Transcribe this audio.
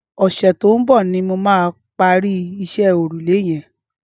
Ọsẹ tó n bọ nimó mà pàri iṣẹ̀ órúlé yẹ̀n